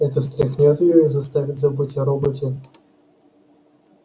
это встряхнёт её и заставит забыть о роботе